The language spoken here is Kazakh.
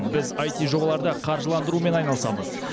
біз іт жобаларды қаржыландырумен айналысамыз